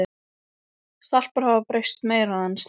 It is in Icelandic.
Stelpurnar hafa breyst meira en strákarnir.